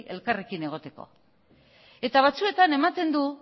elkarrekin egiteko eta batzuetan ematen du